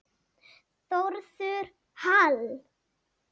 Þórður Hall.